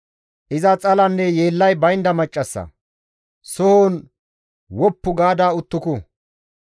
Iza xalanne yeellay baynda maccassa; sohon woppu gaada uttuku.